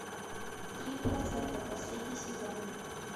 три процента последний сезон